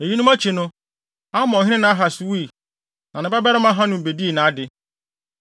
Eyinom akyi no, Amonhene Nahas wui, na ne babarima Hanun bedii ade.